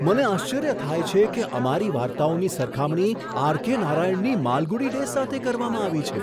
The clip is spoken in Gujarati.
મને આશ્ચર્ય થાય છે કે અમારી વાર્તાઓની સરખામણી આર.કે. નારાયણની માલગુડી ડેઝ સાથે કરવામાં આવી છે!